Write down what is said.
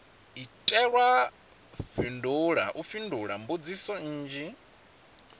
itelwa u fhindula mbudziso nnzhi